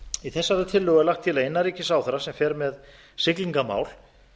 í þessari tillögu er lagt til að innanríkisráðherra sem fer með siglingamál